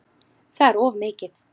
Það er of mikið.